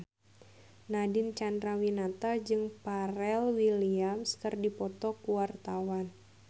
Nadine Chandrawinata jeung Pharrell Williams keur dipoto ku wartawan